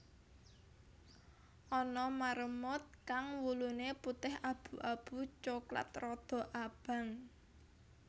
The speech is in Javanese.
Ana marmut kang wuluné putih abu abu coklat rada abang